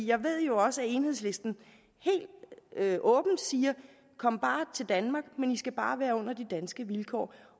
jeg ved jo også at enhedslisten helt åbent siger kom bare til danmark men i skal bare være under de danske vilkår